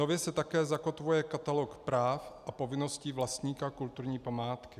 Nově se také zakotvuje katalog práv a povinností vlastníka kulturní památky.